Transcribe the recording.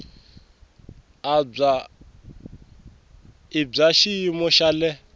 i bya xiyimo xa le